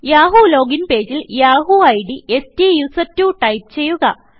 Yahoo login പേജിൽ Yahoo ID സ്റ്റുസെർട്ട്വോ type ചെയ്യുക